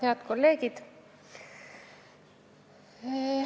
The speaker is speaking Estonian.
Head kolleegid!